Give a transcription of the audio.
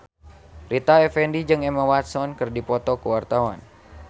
Rita Effendy jeung Emma Watson keur dipoto ku wartawan